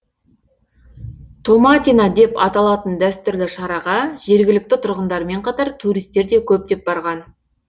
томатина деп аталатын дәстүрлі шараға жергілікті тұрғындармен қатар туристер де көптеп барған